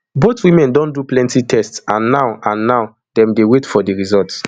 both women don do plenti tests and now and now dem dey wait for di results